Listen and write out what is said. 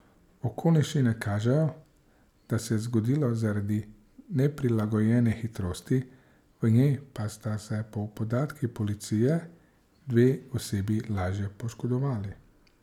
Okoliščine kažejo, da se je zgodila zaradi neprilagojene hitrosti, v njej pa sta se po podatkih policije dve osebi lažje poškodovali.